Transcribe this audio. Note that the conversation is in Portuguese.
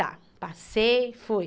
Tá, passei, fui.